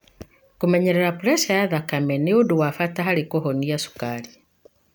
Kũmenyerera puresha ya thakame nĩ ũndũ wa bata harĩ kũhonia cukari.